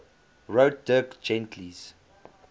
wrote dirk gently's